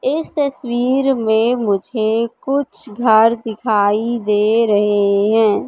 इस तस्वीर में मुझे कुछ घर दिखाई दे रहे हैं।